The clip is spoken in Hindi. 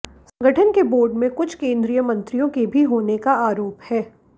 संगठन के बोर्ड में कुछ केंद्रीय मंत्रियों के भी होने का भी आरोप है